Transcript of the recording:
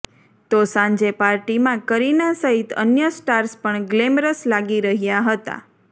તો સાંજે પાર્ટીમાં કરીના સહિત અન્ય સ્ટાર્સ પણ ગ્લેમરસ લાગી રહ્યા હતા